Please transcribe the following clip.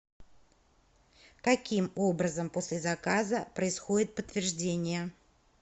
каким образом после заказа происходит подтверждение